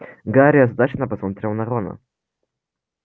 гарри озадаченно посмотрел на рона